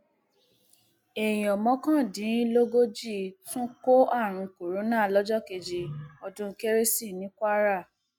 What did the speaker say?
èèyàn mọkàndínlógójì tún kó àrùn kòránà lọjọ kejì ọdún kérésì ní kwara